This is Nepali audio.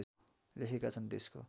लेखेका छन् देशको